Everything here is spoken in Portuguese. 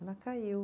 Ela caiu.